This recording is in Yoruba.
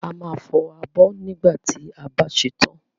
A máa fọ abọ́ nígbà tí a bá ṣe tán.